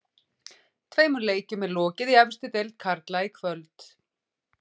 Tveimur leikjum er lokið í efstu deild karla í kvöld.